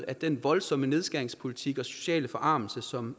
at den voldsomme nedskæringspolitik og sociale forarmelse som